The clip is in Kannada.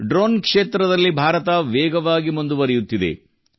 ಡ್ರೋನ್ ಕ್ಷೇತ್ರದಲ್ಲಿ ಭಾರತ ವೇಗವಾಗಿ ಮುಂದುವರಿಯುತ್ತಿದೆ